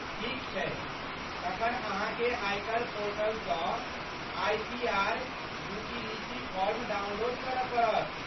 ठीक छै, तखन अहाँकेँ आयकर पोर्टलसँ आइटीआर यूटीलिटी फॉर्म डाउनलोड करऽ पड़त।